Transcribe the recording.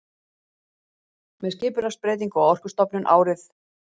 Með skipulagsbreytingu á Orkustofnun árið